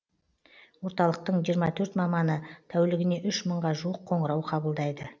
орталықтың жиырма төрт маманы тәулігіне үш мыңға жуық қоңырау қабылдайды